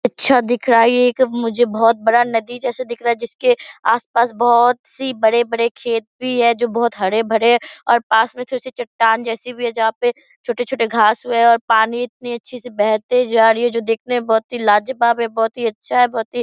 अच्छा दिख रहा है मुझे ये एक बहुत बड़ा नदी जैसा दिख रहा है जिसके आस-पास बहुत सी बड़े-बड़े खेत भी है जो हरे भरे पास में थोड़ी सी चट्टान जैसी भी है जहां पे छोटे-छोटे घास उगे है और पानी इतने अच्छे से बहते जा रही हैं जो देखने में बहुत ही लाजवाब है बहुत ही अच्छा है बहुत ही --